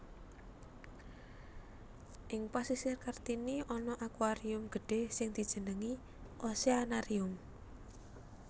Ing Pasisir Kartini ana aquarium gedhé sing dijenengi Oceanarium